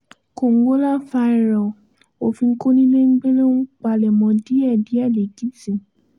kòǹgólàfàìrọ̀ọ́ òfin kọnilẹ́gbẹ́lẹ́ ohun palẹ̀mọ díẹ̀díẹ̀ lẹ́kìtì